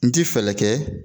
N ti fɛɛlɛ kɛ